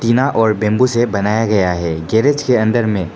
टीना और बंबू से बनाया गया है गैरेज के अंदर में।